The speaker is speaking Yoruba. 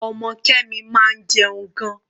Ọmọ Kemi máa ń jẹun gan-an.